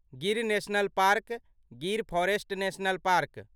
Gir national park Gir forest national park